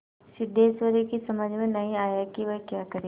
सिद्धेश्वरी की समझ में नहीं आया कि वह क्या करे